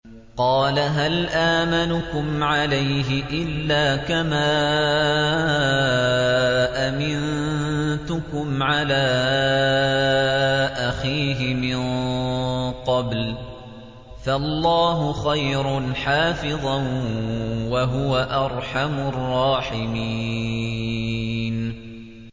قَالَ هَلْ آمَنُكُمْ عَلَيْهِ إِلَّا كَمَا أَمِنتُكُمْ عَلَىٰ أَخِيهِ مِن قَبْلُ ۖ فَاللَّهُ خَيْرٌ حَافِظًا ۖ وَهُوَ أَرْحَمُ الرَّاحِمِينَ